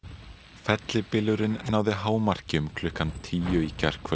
fellibylurinn náði hámarki um klukkan tíu í gærkvöld